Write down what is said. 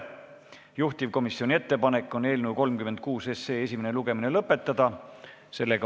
Juhtivkomisjoni ettepanek on eelnõu 36 esimene lugemine lõpetada.